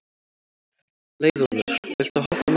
Leiðólfur, viltu hoppa með mér?